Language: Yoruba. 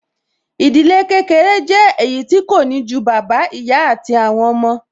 Ìdílé kékeré jẹ́ èyí tí kò ní ju bàbá, ìyá àti àwọn ọmọ